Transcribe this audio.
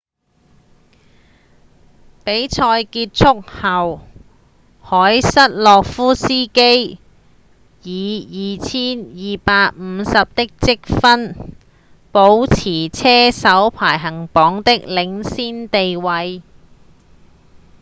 比賽結束後凱瑟洛夫斯基以 2,250 的積分保持車手排行榜的領先地位